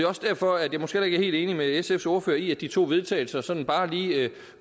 også derfor jeg måske heller ikke er helt enig med sfs ordfører i at de to vedtagelse sådan bare lige